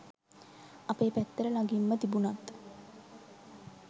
අපේ පැත්තට ළඟින්ම තිබුණත්